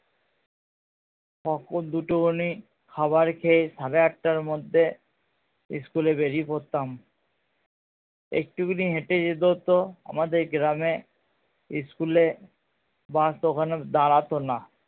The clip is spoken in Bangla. দুটো খানি খাবার খেয়েই সাড়ে আটটার মধ্যেই school এ বেরিয়ে পড়তাম একটুখানি হেটে যেতে হতো আমাদের গ্রাম এ school এর বাস ওখানে দাঁড়াতো না